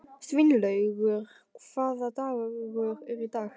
Sveinlaugur, hvaða dagur er í dag?